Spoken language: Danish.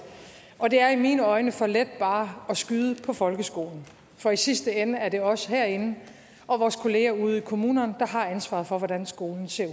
og det er i mine øjne for let bare at skyde på folkeskolen for i sidste ende er det os herinde og vores kolleger ude i kommunerne der har ansvaret for hvordan skolen ser